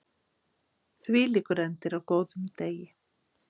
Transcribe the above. Hvílíkur endir á góðum degi!